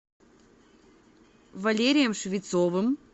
валерием швецовым